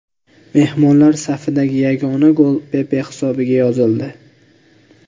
Mehmonlar safidagi yagona gol Pepe hisobiga yozildi.